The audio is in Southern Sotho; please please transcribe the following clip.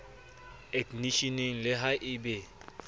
eknisheneng le ha e be